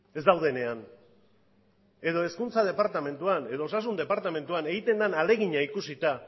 ez daudenean edo hezkuntza departamenduan edo osasun departamentuan egiten den ahalegina ikusita